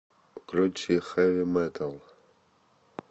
включи хэви метал